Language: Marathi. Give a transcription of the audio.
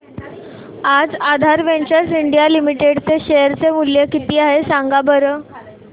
आज आधार वेंचर्स इंडिया लिमिटेड चे शेअर चे मूल्य किती आहे सांगा बरं